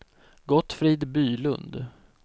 Gottfrid Bylund